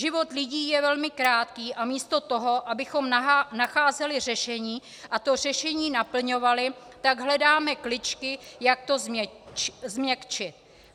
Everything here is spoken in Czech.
Život lidí je velmi krátký a místo toho, abychom nacházeli řešení a to řešení naplňovali, tak hledáme kličky, jak to změkčit.